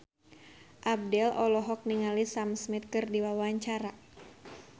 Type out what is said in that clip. Abdel olohok ningali Sam Smith keur diwawancara